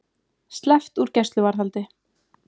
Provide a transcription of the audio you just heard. Sleppt úr gæsluvarðhaldi